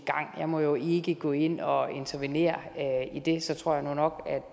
gang jeg må jo ikke gå ind og intervenere i det så tror jeg nok